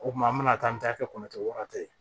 O kuma an bɛna taa an bɛ taa kɛ kɔnɔ tigɛ wa ye